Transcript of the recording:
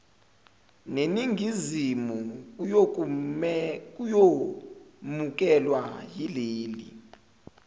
neningizimu kuyomukelwa yileli